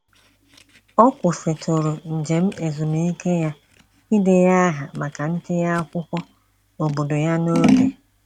Ọ kwụsịtụrụ njem ezumiike ya idenye aha maka ntinye akwụkwọ obodo ya n'oge.